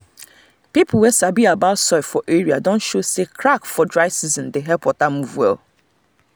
people wey sabi about soil for area don show say crack for dry season dey help water move well